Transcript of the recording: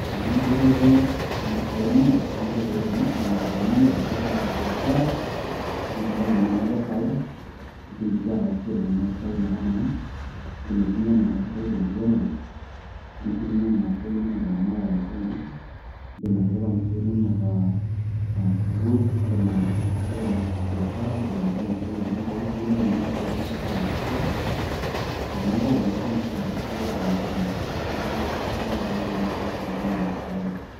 Toponai dupoto oompisai too nkoitoi kumok, indim atoponai atipika biashara pitumoki naa anoto faida ,indim sii ataasishore nena pisai metamanai, indim aitumia nena pisai tenkiremore, indim si aitumia nena pisai inonok teramatare oonkishu, indim atipika mpisai inono aa aa sukuul , indim atipika biashara ,indim atipika nkulie wuejitin pookin pee kitumoki nena pisai ayaki dupoto piikitumoki nena pisai ayaki dupoto te makewon nitum sii dupoto tormarei lino . neaku sidai oleng tenintamanaa nena pisai inonok.